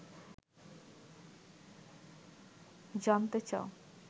জানতে চাও